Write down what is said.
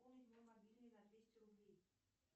пополни мой мобильный на двести рублей